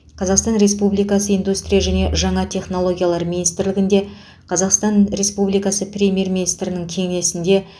қазақстан республикасы индустрия және жаңа технологиялар министрлігінде қазақстан республикасы премьер министрінің кеңсесінде